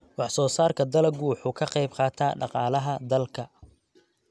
Wax-soo-saarka dalaggu wuxuu ka qayb qaataa dhaqaalaha dalka.